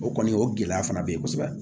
O kɔni o gɛlɛya fana be yen kosɛbɛ